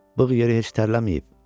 Bığ yeri heç tərləməyib.